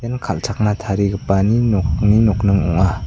kal·chakna tarigipani nokni nokning ong·a.